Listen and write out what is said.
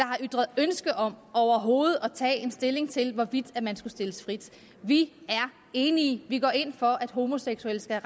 har ytret ønske om overhovedet at tage stilling til hvorvidt man skulle stilles frit vi er enige vi går ind for at homoseksuelle skal